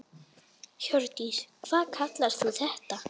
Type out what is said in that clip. Hjördís: Hvað kallar þú þetta?